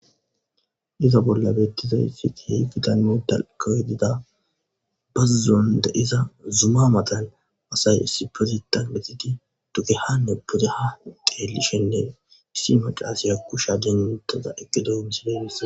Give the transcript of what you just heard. iza bolla bettizaysi kehi gitanne dako dida bazzon de7iza zuma matan asay issipetetan metidi dugehanne pudeha xeellishennen issi macasiya kusha dentaza eqgedo misile bissa